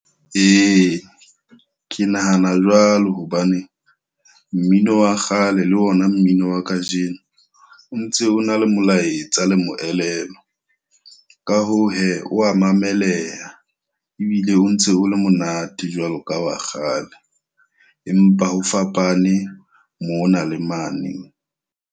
Ee, ke nahana jwalo hobane mmino wa kgale le ona mmino wa kajeno, o ntse o na le molaetsa le moelelo. Ka hoo he, wa mameleha. Ebile o ntse o le monate jwalo ka wa kgale. Empa ho fapane mona le mane.